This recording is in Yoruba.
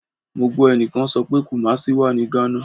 Mo gbọ ẹnikan sọ pe Kumasi wa ni Ghana